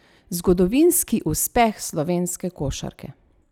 Zgodovinski uspeh slovenske košarke!